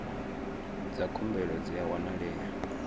dza khumbelo dzi a wanalea